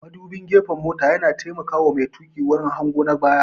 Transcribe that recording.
Mudubin gefen mota yana taimaka wa mai tuƙi wurin hango na baya